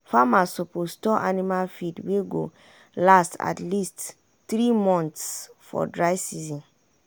farmers suppose store anima food wey go last at least three months for dry season.